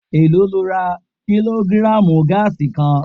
Èló lo ra kílógírààmù gáàsì kan?